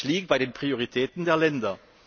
Es liegt an den Prioritäten der Länder.